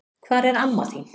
Hvar er amma þín?